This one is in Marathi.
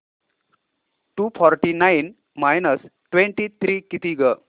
to forty nine minus twenty three किती गं